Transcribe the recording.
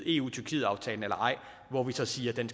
eu tyrkiet aftalen eller ej hvor vi så siger at den